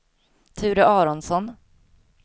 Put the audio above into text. Ture Aronsson